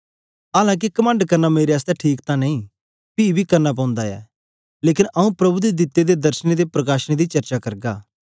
आलां के कमंड करना मेरे आसतै ठीक तां नेई पी बी करना पौंदा ऐ लेकन आंऊँ प्रभु दे दिते दे दर्शनें ते प्रकाशनें दी चर्चा करगा